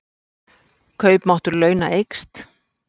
Kaupmáttur launa eykst